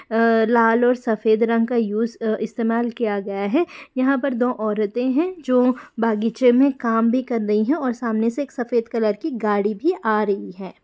अ लाल ओर सफेद रंग का इस्तेमाल किया गया है यह पर दो ओरते है जो बगीचे मे काम भी कर रही है ओर सामने से एक सफेद कलर की गाड़ी भी आ रही है ।